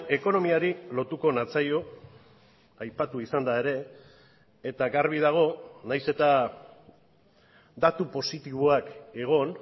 ekonomiari lotuko natzaio aipatu izan da ere eta garbi dago naiz eta datu positiboak egon